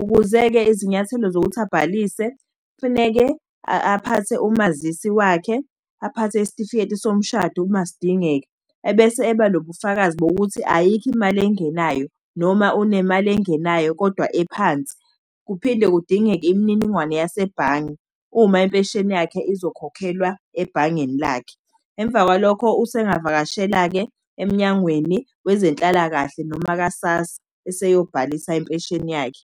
Ukuze-ke izinyathelo zokuthi abhalise, kufuneke aphathe umazisi wakhe, aphathe isitifiketi somshado uma sidingeka, ebese eba nobufakazi bokuthi ayikho imali engenayo, noma unemali engenayo kodwa ephansi. Kuphinde kudingeke imininingwane yasebhange, uma impesheni yakhe izokhokhelwa ebhangeni lakhe. Emva kwalokho usengavakashela-ke eMnyangweni wezeNhlalakahle, noma ka-SASSA, eseyobhalisa impesheni yakhe.